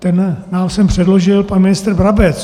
Ten nám sem předložil pan ministr Brabec.